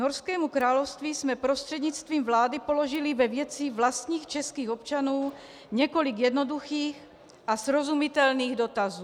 Norskému království jsme prostřednictvím vlády položili ve věci vlastních českých občanů několik jednoduchých a srozumitelných dotazů.